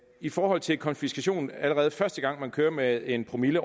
i forhold til konfiskation allerede første gang man kører med en promille